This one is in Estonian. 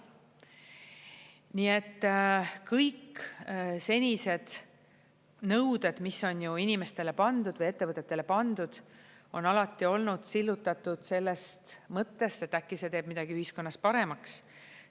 Nii et kõik senised nõuded, mis on inimestele pandud või ettevõtetele pandud, on alati olnud sillutatud sellest mõttest, et äkki see teeb midagi ühiskonnas paremaks.